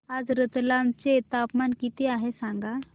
आज रतलाम चे तापमान किती आहे सांगा